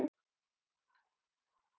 Bara rekið upp Á!